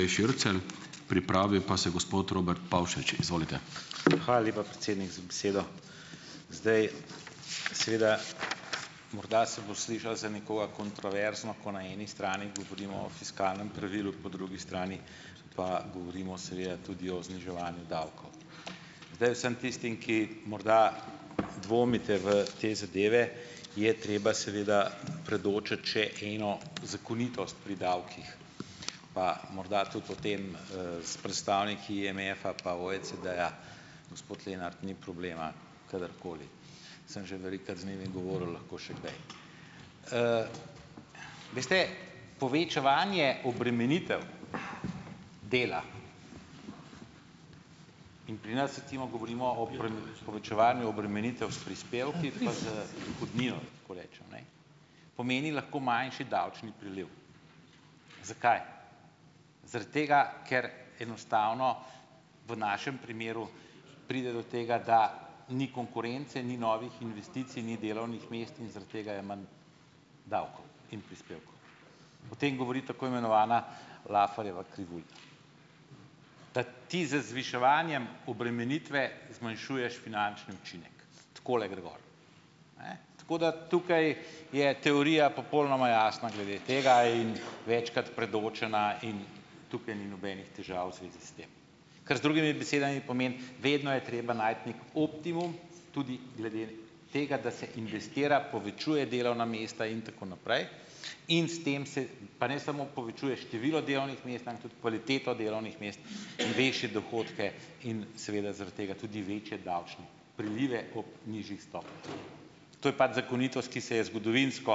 Hvala lepa, predsednik, za besedo. Seveda morda se bo slišalo za nekoga kontroverzno, ko na eni strani govorimo fiskalnem pravilu, po drugi strani pa govorimo, seveda, tudi o zniževanju davkov. Zdaj vsem tistim, ki morda dvomite v te zadeve, je treba seveda predočiti še eno zakonitost pri davkih, pa morda tudi o tem s predstavniki IMF-a pa OECD-ja, gospod Lenart, ni problema kadarkoli. Sem že velikokrat z njimi govoril, lahko še kdaj. Veste, povečevanje obremenitev dela, in pri nas, recimo, govorimo, o povečevanju obremenitev s prispevki pa z dohodnino, tako rečem, ne, pomeni lahko manjši davčni priliv. Zakaj? Zaradi tega, ker enostavno v našem primeru pride do tega, da ni konkurence, ni novih investicij, ni delovnih mest in zaradi tega je manj davkov in prispevkov. O tem govori tako imenovana Lafferjeva krivulja. Da ti z zviševanjem obremenitve zmanjšuješ finančni učinek, takole gre gor. Ne, tako da tukaj je teorija popolnoma jasna glede tega in večkrat predočena in tukaj ni nobenih težav v zvezi s tem. Kar z drugimi besedami pomeni, vedno je treba najti nek optimum tudi glede tega, da se investira, povečuje delovna mesta in tako naprej. In s tem se pa ne samo povečuje število delovnih mest, am tudi kvaliteto delovnih mest in večje dohodke in seveda zaradi tega tudi večje davčni prilive ob nižjih stopnjah. To je pač zakonitost, ki se je zgodovinsko,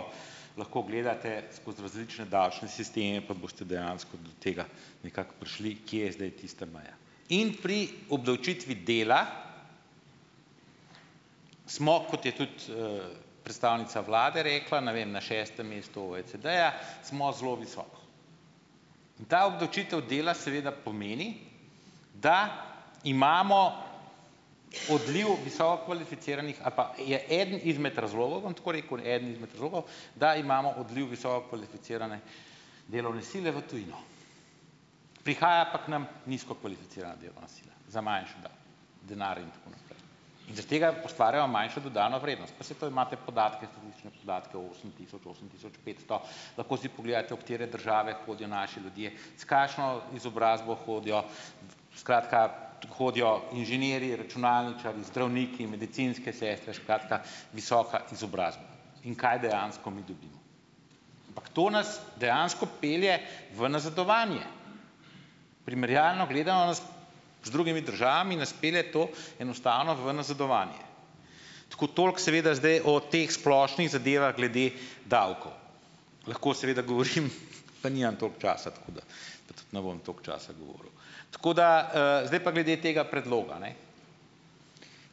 lahko gledate skozi različne davčne sisteme, pa boste dejansko do tega nekako prišli, kje je zdaj tista meja. In pri obdavčitvi dela, smo, kot je tudi predstavnica vlade rekla, na vem, na šestem mestu OECD-ja, smo zelo visoko. In ta obdavčitev dela seveda pomeni, da imamo odliv visokokvalificiranih ali pa, je eden izmed razlogov, bom tako rekel, eden izmed razlogov, da imamo odliv visokokvalificirane delovne sile v tujino. Prihaja pa k nam nizkokvalificirana delovna sila, za manjši denar in tako naprej in zaradi tega ustvarjamo manjšo dodano vrednost. Pa saj to imate podatke, lahko si pogledate, v katere države hodijo naši ljudje, s kakšno izobrazbo hodijo, skratka, hodijo inženirji, računalničarji, zdravniki, medicinske sestre, skratka, visoka izobrazba in kaj dejansko mi dobimo. Ampak to nas dejansko pelje v nazadovanje. Primerjalno gledano s, z drugimi državami nas pelje to enostavno v nazadovanje. Tako, toliko seveda zdaj o teh splošnih zadevah glede davkov. Lahko seveda govorim, pa nimam toliko časa, tako da, pa tudi ne bom toliko časa govoril. Tako da, zdaj pa glede tega predloga, ne.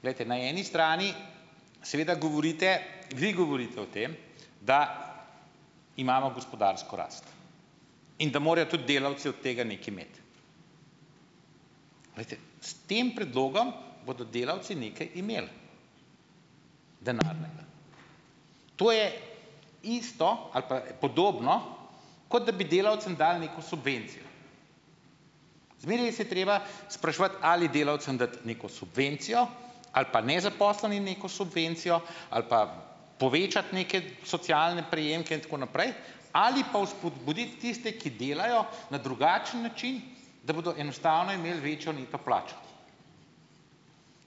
Glejte, na eni strani seveda govorite, vi govorite o tem, da imamo gospodarsko rast in da morajo tudi delavci od tega nekaj imeti. Glejte, s tem predlogom bodo delavci nekaj imeli. To je isto ali pa podobno, kot da bi delavcem dali neko subvencijo. Zmeraj se je treba spraševati, ali delavcem dati neko subvencijo ali pa nezaposlenim neko subvencijo ali pa povečati neke socialne prejemke in tako naprej ali pa vzpodbuditi tiste, ki delajo, na drugačen način, da bodo enostavno imeli večjo neto plačo.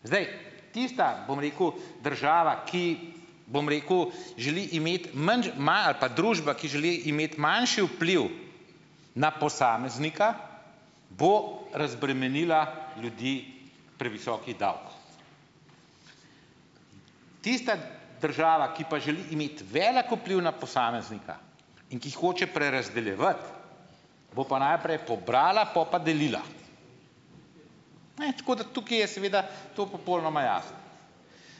Zdaj, tista, bom rekel država, ki, bom rekel, želi imeti manj, ima, ali pa družba, ki želi imeti manjši vpliv na posameznika, bo razbremenila ljudi previsokih davkov. Tista država, ki pa želi imeti velik vpliv na posameznika in ki hoče prerazdeljevati, bo pa najprej pobrala, pol pa delila. Ne, tako da tukaj je seveda to popolnoma jasno.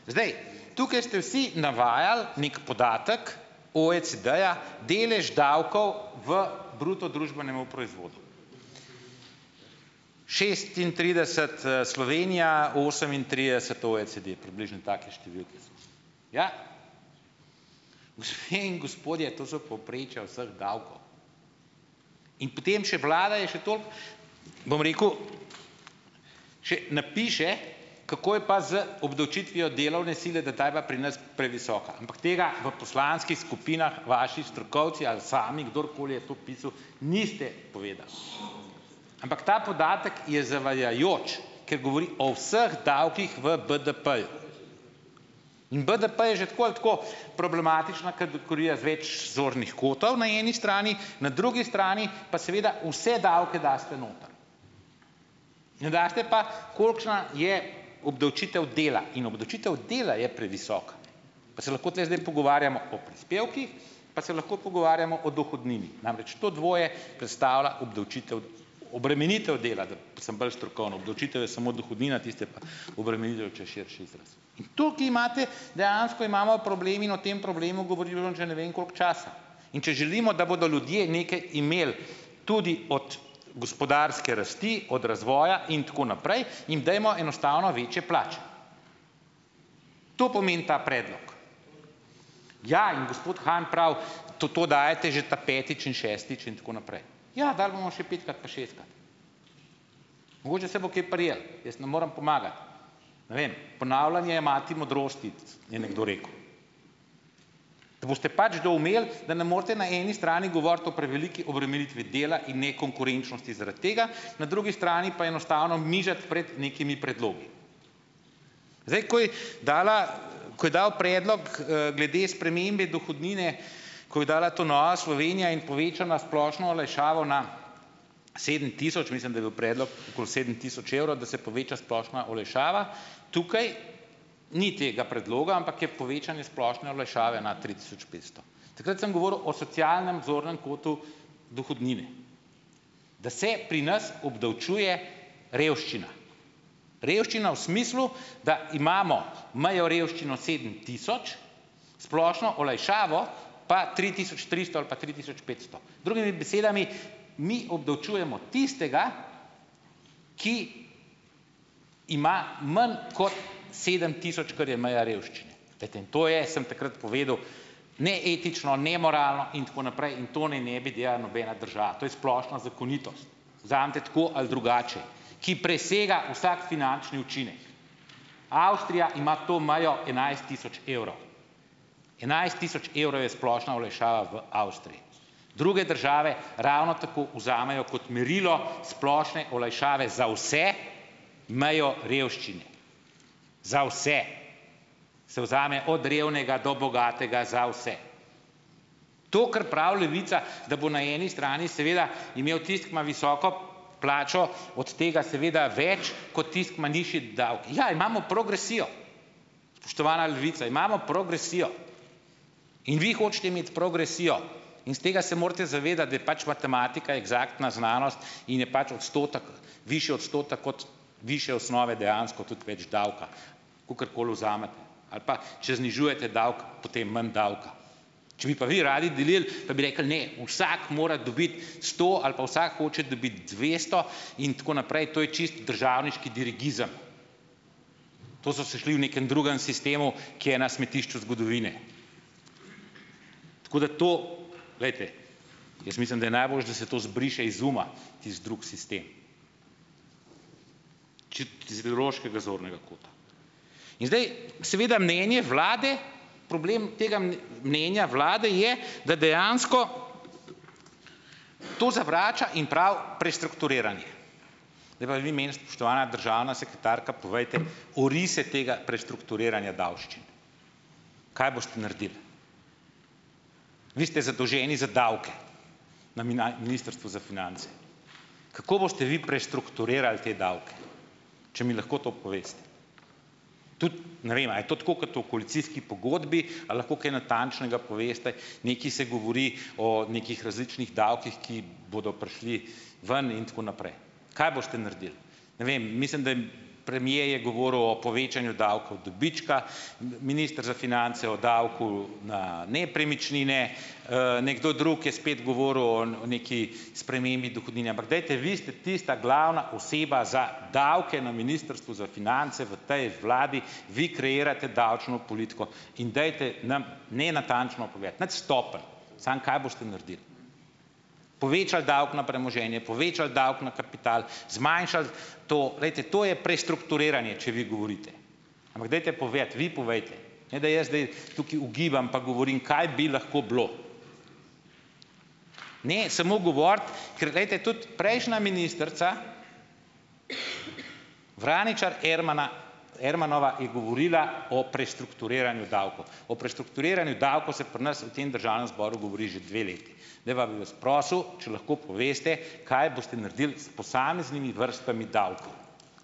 Zdaj, tukaj ste vsi navajali nek podatek OECD-ja delež davkov v bruto družbenem proizvodu. Šestintrideset Slovenija, osemintrideset OECD. Približno take številke so. Ja. Gospe in gospodje, to so povprečja vseh davkov in potem še vlada je še toliko, bom rekel, še napiše, kako je pa z obdavčitvijo delovne sile, da ta je pa pri nas previsoka, ampak tega v poslanskih skupinah vaši strokovci ali sami, kdorkoli je to pisal, niste povedali, ampak ta podatek je zavajajoč, ker govori o vseh davkih v BDP-ju in BDP je že tako ali tako problematična zornih kotov na eni strani, na drugi strani pa seveda vse davke daste noter, ne daste pa, kolikšna je obdavčitev dela, in obdavčitev dela je previsoka. Pa se lahko tule zdaj pogovarjamo o prispevkih, pa se lahko pogovarjamo o dohodnini. Namreč, to dvoje predstavlja obdavčitev, obremenitev dela, da sem bolj strokoven. Obdavčitev je samo dohodnina, tisto je pa obremenitev, če je širši izraz. In tukaj imate, dejansko imamo problem in o tem problemu govorimo že ne vem koliko časa, in če želimo, da bodo ljudje nekaj imeli tudi od gospodarske rasti, od razvoja in tako naprej, jim dajmo enostavno večje plače. To pomeni ta predlog. Ja in gospod Han pravi, to to dajete že ta petič in šestič in tako naprej. Ja, dali bomo še petkrat, pa šestkrat. Mogoče se bo kaj prijelo. Jaz ne morem pomagati. Ne vem, ponavljanje je mati modrosti, je nekdo rekel. Da boste pač doumeli, da ne morete na eni strani govoriti o preveliki obremenitvi dela in nekonkurenčnosti zaradi tega, na drugi strani pa enostavno nižati pred nekimi predlogi. Zdaj takoj dala, ko je dal predlog glede spremembe dohodnine, ko je dala to Nova Slovenija in povečala splošno olajšavo na sedem tisoč, mislim, da je bil predlog okoli sedem tisoč evrov, da se poveča splošna olajšava. Tukaj ni tega predloga, ampak je povečanje splošne olajšave na tri tisoč petsto. Takrat sem govoril o socialnem zornem kotu dohodnine, da se pri nas obdavčuje revščina, revščina v smislu, da imamo mejo revščino sedem tisoč, splošno olajšavo, pa tri tisoč tristo ali pa tri tisoč petsto. Drugimi besedami, mi obdavčujemo tistega, ki ima manj kot sedem tisoč, kar je meja revščine. Glejte, to je, sem takrat povedal, neetično, nemoralno in tako naprej in to naj ne bi delala nobena država, to je splošna zakonitost, vzemite tako ali drugače, ki presega vsak finančni učinek. Avstrija ima to mejo enajst tisoč evrov, enajst tisoč evrov je splošna olajšava v Avstriji. Druge države ravno tako vzamejo kot merilo splošne olajšave za vse mejo revščine, za vse, se vzame od revnega do bogatega, za vse. To, kar pravi Levica, da bo na eni strani seveda imel tisti, ki ima visoko plačo, od tega seveda več kot tisti, ki ima nižji davek. Ja, imamo progresijo, spoštovana Levica, imamo progresijo. In vi hočete imeti progresijo in se tega se morate zavedati, da je pač matematika eksaktna znanost in je pač odstotek, višji odstotek od višje osnove dejansko tudi več davka, kakorkoli vzamete. Ali pa, če znižujete davek, potem manj davka. Če bi pa vi radi delili, pa bi rekli, ne, vsak mora dobiti sto ali pa vsak hoče dobiti dvesto in tako naprej, to je čisto državniški dirigizem. To so se šli v nekem drugem sistemu, ki je na smetišču zgodovine. Tako da to, glejte, jaz mislim, da je najboljše, da se to zbriše iz uma tisti drug sistem, In zdaj seveda mnenje vlade, problem tega mnenja vlade je, da dejansko to zavrača in pravi, prestrukturiranje. Zdaj pa vi meni, spoštovana državna sekretarka, povejte, orise tega prestrukturiranja davščin. Kaj boste naredili? Vi ste zadolženi za davke na Ministrstvu za finance. Kako boste vi prestrukturirali te davke, če mi lahko to poveste? Tudi ne vem, a je to tako kot v koalicijski pogodbi, a lahko kaj natančnega poveste. Nekaj se govori o nekih različnih davkih, ki bodo prišli ven in tako naprej. Kaj boste naredili? Ne vem, mislim, da je premier je govoril o povečanju davkov dobička, minister za finance o davku na nepremičnine, nekdo drug je spet govoril o neki spremembi dohodnine. Ampak dajte, vi ste tista glavna oseba za davke na Ministrstvu za finance v tej vladi, vi kreirate davčno politiko in dajte nam, ne, natančno povedati, nič stopenj, samo kaj boste naredili. Povečali davek na premoženje, povečali davek na kapital, zmanjšali to. Glejte, to je prestrukturiranje, če vi govorite. Ampak dajte povedati, vi povejte, ne da jaz zdaj tukaj ugibam, pa govorim, kaj bi lahko bilo. Ne samo govoriti, ker glejte, tudi prejšnja ministrica Vraničar Ermana Ermanova je govorila o prestrukturiranju davkov. O prestrukturiranju davkov se pri nas v tem Državnem zboru govori že dve leti. Zdaj pa bi vas prosil, če lahko poveste, kaj boste naredili s posameznimi vrstami davkov.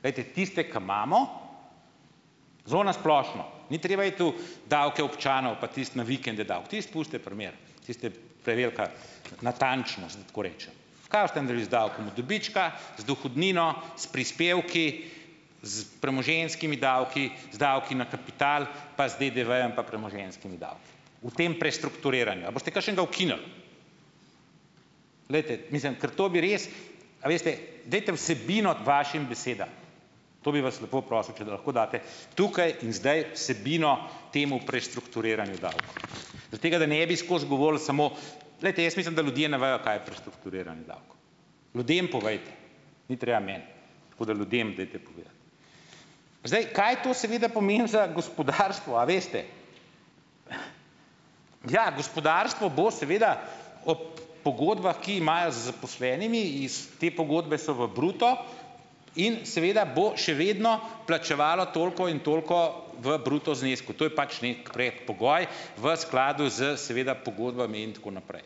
Glejte, tiste, ki imamo, zelo na splošno, ni treba iti v davke občanov, pa tisto na vikende davek, tisto pustite pri miru, tisti je prevelika natančnost, da tako rečem. Kaj boste naredili z davkom od dobička, z dohodnino, s prispevki, s premoženjskimi davki, z davki na kapital, pa z DDV-jem, pa premoženjskimi davki v tem prestrukturiranju? A boste kakšnega ukinili? Glejte, mislim, ker to bi res, a veste, dajte vsebino vašim besedam. To bi vas lepo prosil, če lahko date tukaj in zdaj vsebino temu prestrukturiranju davkov zaradi tega, da ne bi skozi govorili samo. Glejte, jaz mislim, da ljudje ne vejo, kaj je prestrukturiranje davkov. Ljudem povejte, ni treba meni. Tako da ljudem dajte povedati. Zdaj, kaj to seveda pomeni za gospodarstvo, a veste. Ja, gospodarstvo bo seveda ob pogodbah, ki imajo z zaposlenimi, iz te pogodbe so v bruto in seveda bo še vedno plačevalo toliko in toliko v bruto znesku. To je pač nek predpogoj v skladu s seveda pogodbami in tako naprej.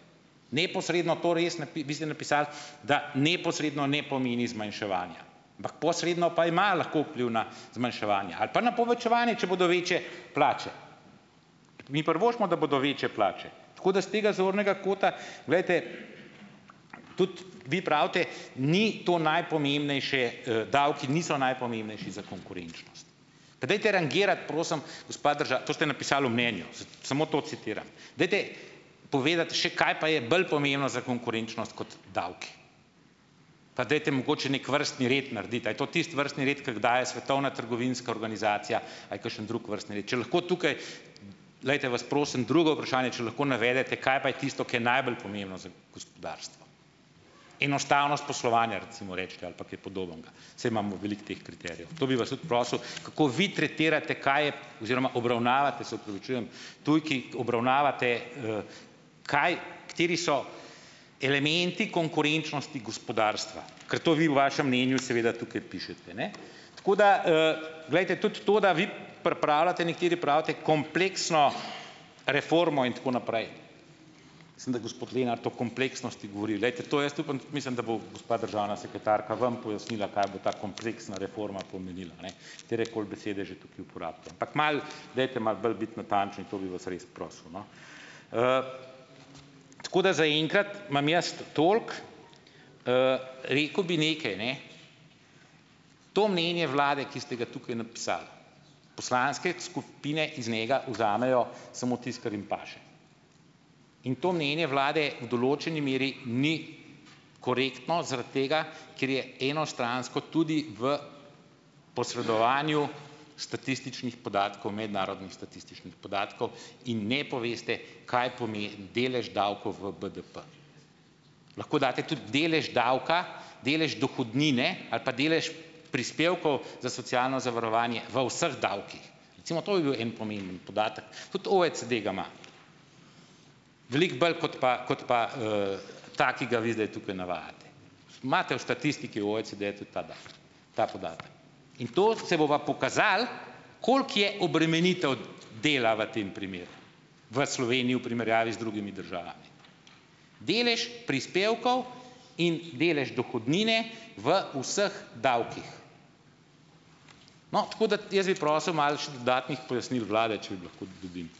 Neposredno to res vi ste napisali, da neposredno ne pomeni zmanjševanja, ampak posredno pa imajo lahko vpliv na zmanjševanja ali pa na povečevanje, če bodo večje plače. Mi privoščimo, da bodo večje plače, tako da s tega zornega kota, glejte, tudi vi pravite, ni to najpomembnejše, davki niso najpomembnejši za konkurenčnost. Pa dajte rangirati, prosim, gospa to ste napisali v mnenju, samo to citiram. Dajte povedati še, kaj pa je bolj pomembno za konkurenčnost kot davki. Pa dajte mogoče nek vrstni red narediti, a je to tisti vrstni red, ki ga daje Svetovna trgovinska organizacija, a je kakšen drug vrstni red, če lahko tukaj, glejte, vas prosim, drugo vprašanje, če lahko navedete, kaj pa je tisto, ke je najbolj pomembno za gospodarstvo. Enostavnost poslovanja recimo recite ali pa kaj podobnega, saj imamo veliko teh kriterijev. To bi vas tudi prosil, kako vi tretirate, kaj je oziroma obravnavate, se opravičujem tujki, obravnavate kaj, kateri so elementi konkurenčnosti gospodarstva, ker to vi v vašem mnenju seveda tukaj pišete, ne. Tako da, glejte, tudi to, da vi pripravljate, nekateri pravite, kompleksno reformo, in tako naprej, mislim, da je gospod Lenart o kompleksnosti govori. Glejte, to jaz upam, mislim, da bo gospa državna sekretarka vam pojasnila, kaj bo ta kompleksna reforma pomenila, ne, katerekoli besede že tukaj uporabite, ampak malo dajte malo bolj biti natančni, to bi vas res prosil, no. Tako da zaenkrat imam jaz toliko. Rekel bi nekaj, ne, to mnenje vlade, ki ste ga tukaj napisali, poslanske skupine iz njega vzamejo samo tisto, kar jim paše in to mnenje vlade v določeni meri ni korektno zaradi tega, ker je enostransko tudi v posredovanju statističnih podatkov, mednarodnih statističnih podatkov, in ne poveste, kaj pomeni delež davkov v BDP. Lahko date tudi delež davka, delež dohodnine ali pa delež prispevkov za socialno zavarovanje v vseh davkih. Recimo to bi bil en pomemben podatek. Tudi OECD ga ima. Veliko bolj kot pa kot pa ta, ki ga vi zdaj tukaj navajate. Imate v statistiki OECD-ja tudi ta datum, ta podatek, in to se bo pa pokazalo, koliko je obremenitev dela v tem primeru, v Sloveniji v primerjavi z drugimi državami. Delež prispevkov in delež dohodnine v vseh davkih. No, tako da, jaz bi prosil malo še dodatnih pojasnil vlade, če lahko dobim.